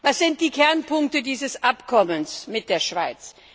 Was sind die Kernpunkte dieses Abkommens mit der Schweiz?